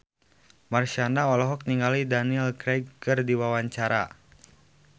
Marshanda olohok ningali Daniel Craig keur diwawancara